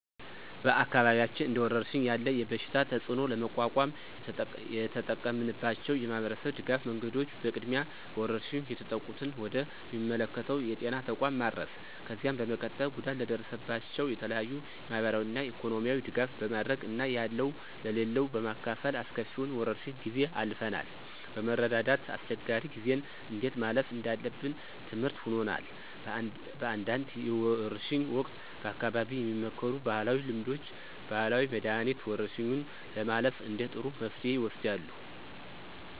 በአካባቢያችን እንደወረርሽኝ ያለ የበሽታ ተፅእኖ ለመቋቋም የተጠቀምንባቸው የማህበረሰብ ድጋፍ መንገዶች በቅድሚያ በወረርሽኙ የተጠቁትን ወደ ሚመለከተው የጤና ተቋም ማድረስ፣ ከዚያ በመቀጠል ጉዳት ለደረሰባቸው የተለያዩ የማህበራዊና ኢኮኖሚያዊ ድጋፍ በማድረግ እና ያለው ለሌለው በማካፈል አስከፊውን የወረርሽ ጊዜ አልፈናል። በመረዳዳት አስቸጋሪ ጊዜን እንዴት ማለፍ እንዳለብን ትምርህት ሆኖናል። በአንዳንድ የወርሽ ወቅት በአካባቢው የሚመከሩ ባህላዊ ልምዶች፣ ባህላዊ መድኃኒት፣ ወረርሽኙን ለማለፍ እንደ ጥሩ መፍትሄ ይወሰዳሉ።